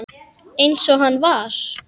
Eins og hann var.